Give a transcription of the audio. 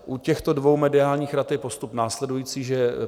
U těchto dvou mediálních rad je postup následující, že